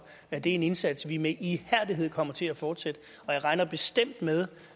at det er en indsats vi med ihærdighed kommer til at fortsætte jeg regner bestemt